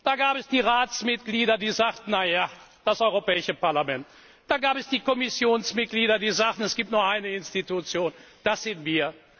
Da gab es die Ratsmitglieder, die sagten Na ja, das Europäische Parlament, da gab es die Kommissionsmitglieder, die sagten Es gibt nur eine Institution, das sind wir.